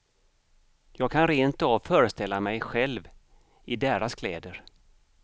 Jag kan rentav föreställa mig själv i deras kläder.